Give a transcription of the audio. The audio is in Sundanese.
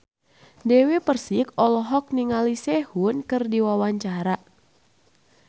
Dewi Persik olohok ningali Sehun keur diwawancara